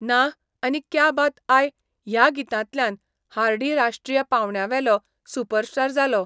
नाह आनी क्या बात आय ह्या गितांतल्यान हार्डी राश्ट्रीय पांवड्यावेलो सुपरस्टार जालो.